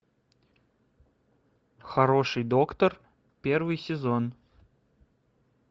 хороший доктор первый сезон